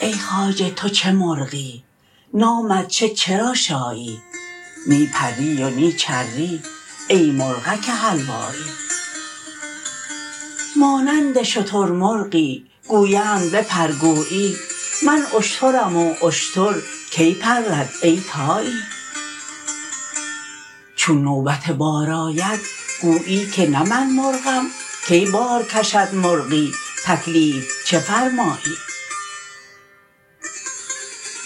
ای خواجه تو چه مرغی نامت چه چرا شایی نی پری و نی چری ای مرغک حلوایی مانند شترمرغی گویند بپر گویی من اشترم و اشتر کی پرد ای طایی چون نوبت بار آید گویی که نه من مرغم کی بار کشد مرغی تکلیف چه فرمایی